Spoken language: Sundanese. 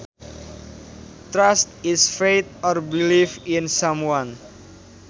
Trust is faith or belief in someone